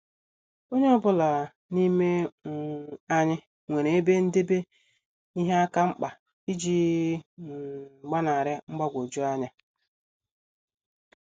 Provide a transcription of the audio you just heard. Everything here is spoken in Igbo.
Onye ọ bụla n'ime um anyị nwere ebe ndebe ihe akamkpa iji um gbanari mgbagwoju anya.